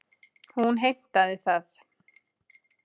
Hún heimtaði það.